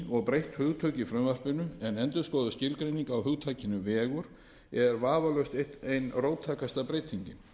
og breytt hugtök í frumvarpinu en endurskoðuð skilgreining á hugtakinu vegur er vafalaust ein róttækasta breytingin